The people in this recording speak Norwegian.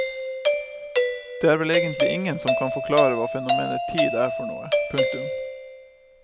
Det er vel egentlig ingen som kan forklare hva fenomenet tid er for noe. punktum